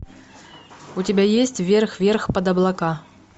у тебя есть вверх вверх под облака